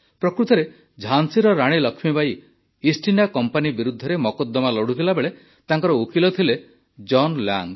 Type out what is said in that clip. ପ୍ରକୃତରେ ଝାନ୍ସୀର ରାଣୀ ଲକ୍ଷ୍ମୀବାଈ ଇଷ୍ଟଇଣ୍ଡିଆ କମ୍ପାନୀ ବିରୁଦ୍ଧରେ ମକଦ୍ଦମା ଲଢ଼ୁଥିବାବେଳେ ତାଙ୍କର ଓକିଲ ଥିଲେ ଜନ୍ ଲାଙ୍ଗ୍